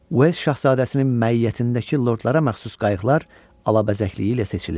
Uels şahzadəsinin məiyyətindəki lordlara məxsus qayıqlar alabəzəkliyi ilə seçilirdi.